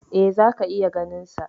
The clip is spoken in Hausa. E, zaka iya ganinsa.